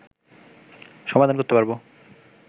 সমাধান করতে পারবো